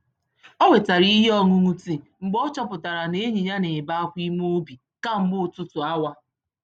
Owetara ihe ọṅụṅụ tìì mgbe ọchọpụtara na enyi ya n'ebe Akwa ime obi kamgbe ọtụtụ awa